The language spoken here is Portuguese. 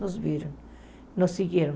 Nos viram, nos seguiram.